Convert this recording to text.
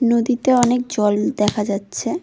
নদীতে অনেক জল দেখা যাচ্ছে।